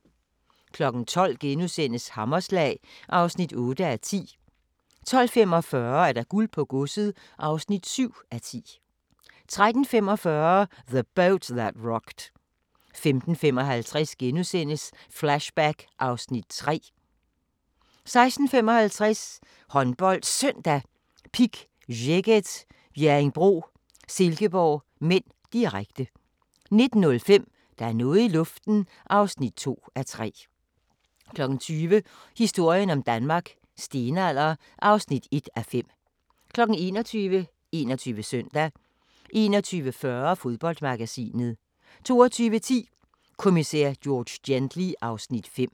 12:00: Hammerslag (8:10)* 12:45: Guld på godset (7:10) 13:45: The Boat That Rocked 15:55: Flashback (Afs. 3)* 16:55: HåndboldSøndag: Pick Szeged - Bjerringbro-Silkeborg (m), direkte 19:05: Der er noget i luften (2:3) 20:00: Historien om Danmark: Stenalder (1:5) 21:00: 21 Søndag 21:40: Fodboldmagasinet 22:10: Kommissær George Gently (Afs. 5)